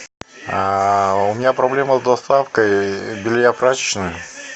у меня проблема с доставкой белья в прачечную